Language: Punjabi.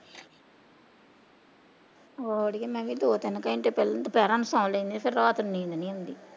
ਆਹੋ ਅੜੀਏ ਮੈਂ ਵੀ ਦੋ ਤਿੰਨ ਘੰਟੇ ਪਹਿਲੋਂ ਦੁਪਹਿਰਾਂ ਨੂੰ ਸੋ ਲੈਣੀ ਫਿਰ ਰਾਤ ਨੂੰ ਨੀਂਦ ਨੀ ਆਉਂਦੀ।